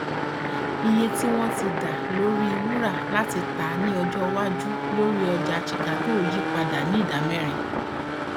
iye tí wọn ti dá lórí wúrà láti tà ní ọjọ iwájú lórí ọjà chicago yí padà ní ìdámẹrin